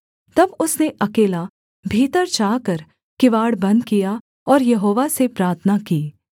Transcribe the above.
तब उसने अकेला भीतर जाकर किवाड़ बन्द किया और यहोवा से प्रार्थना की